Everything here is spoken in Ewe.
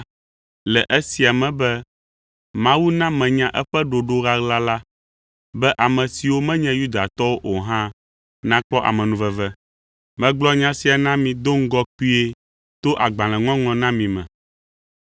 le esia me be Mawu na menya eƒe ɖoɖo ɣaɣla la be ame siwo menye Yudatɔwo o hã nakpɔ amenuveve. Megblɔ nya sia na mi do ŋgɔ kpuie to agbalẽŋɔŋlɔ na mi me.